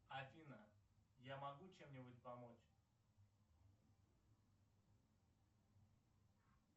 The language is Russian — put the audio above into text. афина я могу чем нибудь помочь